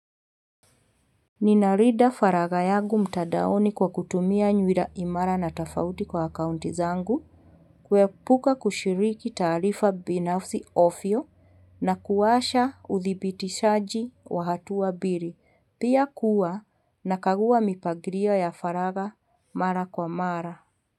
Ninalinda faraga yangu mtandaoni kwa kutumia nywila imara na tofauti kwa akaunti zangu kuepuka kushiriki taarifa binafsi ovyo na kuwasha uthibitishaji wa hatuwa mbili. Pia kuwa nakagua mipangilia ya faraga mara kwa mara.